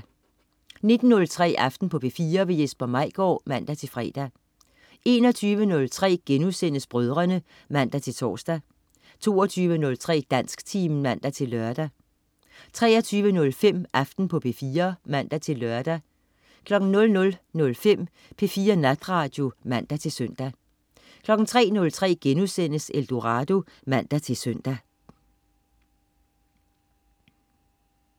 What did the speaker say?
19.03 Aften på P4. Jesper Maigaard (man-fre) 21.03 Brødrene* (man-tors) 22.03 Dansktimen (man-lør) 23.05 Aften på P4 (man-lør) 00.05 P4 Natradio (man-søn) 03.03 Eldorado* (man-søn)